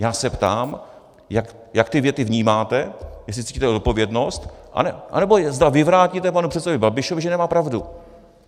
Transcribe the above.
Já se ptám, jak ty věty vnímáte, jestli cítíte odpovědnost, anebo zda vyvrátíte panu předsedovi Babišovi, že nemá pravdu.